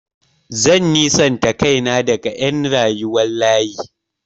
Zan nisanta kaina daga ƴan rayuwar layi.